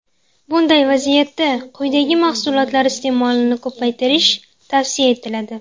Bunday vaziyatda quyidagi mahsulotlar iste’molini ko‘paytirish tavsiya etiladi.